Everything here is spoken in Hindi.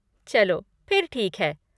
चलो फिर ठीक है।